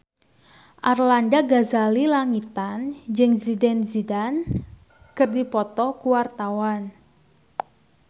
Arlanda Ghazali Langitan jeung Zidane Zidane keur dipoto ku wartawan